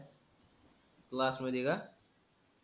class मधी का